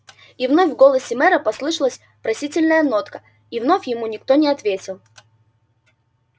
и вновь в голосе мэра послышалась просительная нотка и вновь ему никто не ответил